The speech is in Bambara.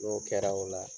N'o kɛra o la